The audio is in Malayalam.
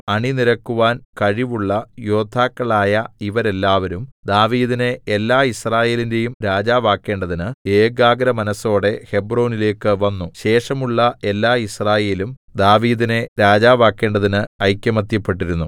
അണിനിരക്കുവാൻ കഴിവുള്ള യോദ്ധാക്കളായ ഇവരെല്ലാവരും ദാവീദിനെ എല്ലായിസ്രായേലിന്റേയും രാജാവാക്കേണ്ടതിന് ഏകാഗ്രമനസ്സോടെ ഹെബ്രോനിലേക്കു വന്നു ശേഷമുള്ള എല്ലാ യിസ്രായേലും ദാവീദിനെ രാജാവാക്കേണ്ടതിന് ഐകമത്യപ്പെട്ടിരുന്നു